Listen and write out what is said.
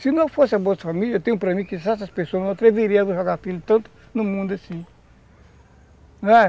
Se não fosse a Bolsa Família, tenho para mim que essas pessoas não atreveriam a jogar filho tanto no mundo assim, não é?